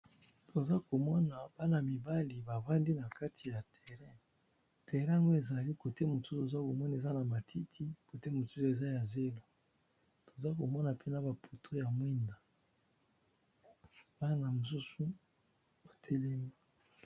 Toza ko mona bana mibali ba vandi na kati ya terrain, terraln ezali côté mosusu oza komona eza na matiti, côté mosusu eza ya zelo. Toza ko mona pe na ba poto ya mwinda, bana mosusu ba telemi .